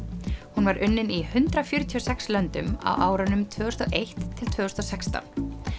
hún var unnin í hundrað fjörutíu og sex löndum á árunum tvö þúsund og eitt til tvö þúsund og sextán